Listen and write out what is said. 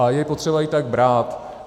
A je potřeba ji tak brát.